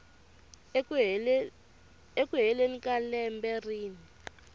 eku heleni ka lembe rin